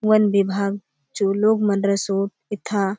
वन विभाग चो लोक मन रसोत एथा--